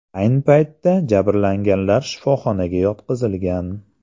Ayni paytda jabrlanganlar shifoxonaga yotqizilgan.